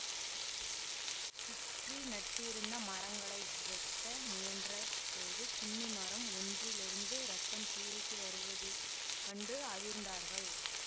சுற்றி நட்டிருந்த மரங்களை வெட்ட முயன்ற போது குன்னி மரம் ஒன்றிலிருந்து இரத்தம் பீரிட்டு வருவது கண்டு அதிர்ந்தார்கள்